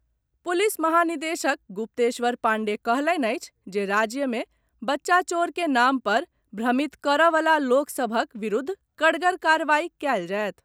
Police महानिदेशक गुप्तेश्वर पांडेय कहलनि अछि जे राज्य मे बच्चा चोर के नाम पर भ्रमित करऽवला लोक सभक विरूद्ध कड़गर कार्रवाई कयल जायत।